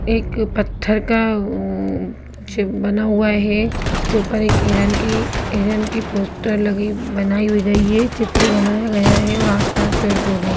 एक पत्थर का कुछ बना हुआ है उसके ऊपर एक हिरन की हिरन की पोस्टर लगी बनाई हुई गई है चित्र बनाया गया हुआ है आस-पास पेड़-पौधे हैं।